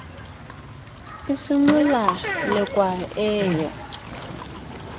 e simolla lekwa e yo